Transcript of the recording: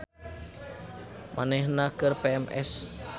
Manehna keur PMS